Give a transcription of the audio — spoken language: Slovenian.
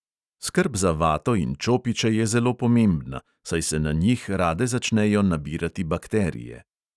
Skrb za vato in čopiče je zelo pomembna, saj se na njih rade začnejo nabirati bakterije.